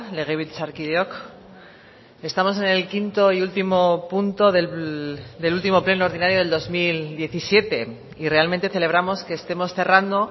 legebiltzarkideok estamos en el quinto y último punto del último pleno ordinario del dos mil diecisiete y realmente celebramos que estemos cerrando